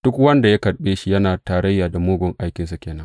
Duk wanda ya karɓe shi yana tarayya da mugun aikinsa ke nan.